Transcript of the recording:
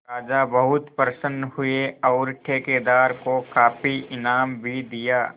राजा बहुत प्रसन्न हुए और ठेकेदार को काफी इनाम भी दिया